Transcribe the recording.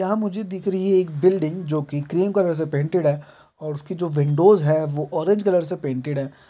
यहाँ मुझे दिख रही है एक बिल्डिंग जो की क्रीम कलर से पेंटेड है और उसकी जो विंडोज है वो ऑरेंज कलर से पेंटेड है।